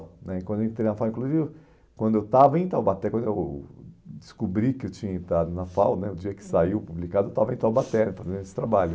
né Quando eu entrei na FAU, inclusive, quando eu estava em Taubaté, quando eu descobri que eu tinha entrado na FAU né, o dia que saiu publicado, eu estava em Taubaté, estava fazendo esse trabalho.